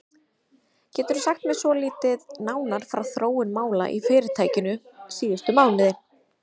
Geturðu sagt mér svolítið nánar frá þróun mála í fyrirtækinu síðustu mánuði?